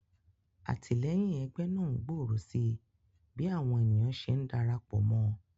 Àtìléyìn egbé náà ngbòrò sí bí àwon ènìyàn se ndarapò mó